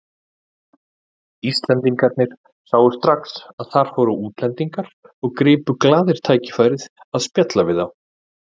Íslendingarnir sáu strax að þar fóru útlendingar og gripu glaðir tækifærið að spjalla við þá.